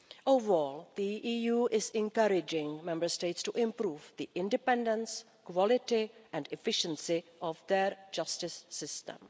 Overall, the EU is encouraging Member States to improve the independence, quality and efficiency of their justice system.